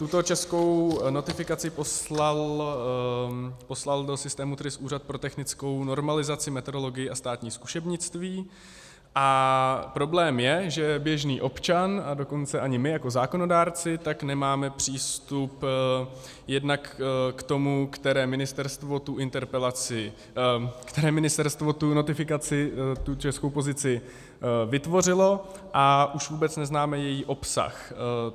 Tuto českou notifikaci poslal do systému TRIS Úřad pro technickou normalizaci, metrologii a státní zkušebnictví a problém je, že běžný občan, a dokonce ani my jako zákonodárci tak nemáme přístup jednak k tomu, které ministerstvo tu notifikaci, tu českou pozici vytvořilo, a už vůbec neznáme její obsah.